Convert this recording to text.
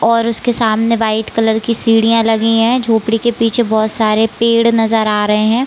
और उसके सामने वाइट कलर की सीढियाँ लगी है। झोपड़ी के पीछे बोहत सारे पेड़ नज़र आ रहे है।